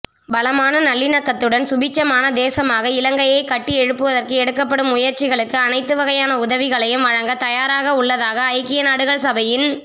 பலமான நல்லிணக்கத்துடன் சுபீட்சமான தேசமாக இலங்கையை கட்டியெழுப்புவதற்கு எடுக்கப்படும் முயற்சிகளுக்கு அனைத்துவகையான உதவிகளையும் வழங்க தயாராக உள்ளதாக ஐக்கியநாடுகள் சபையின்